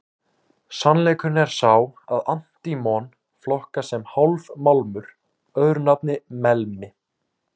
Sannleikurinn er sá að antímon flokkast sem hálfmálmur, öðru nafni melmi.